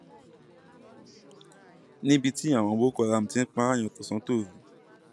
níbi tí àwọn boko haram ti ń pààyà tọsántòru